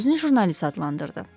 Özünü jurnalist adlandırdı.